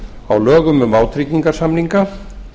á lögum um vátryggingarsamninga